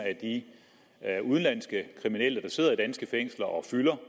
af de udenlandske kriminelle der sidder i danske fængsler og fylder